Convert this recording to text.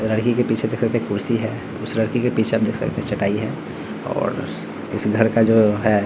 लड़की के पीछे देख सकते है कुर्सी है उस लड़की के पीछे आप देख सकते है चटाई है और इस घर का जो है --